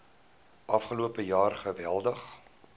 afgelope jaar geweldig